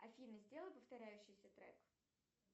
афина сделай повторяющийся трек